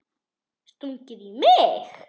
Stungið í mig?